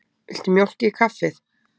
Viltu mjólk í kaffið?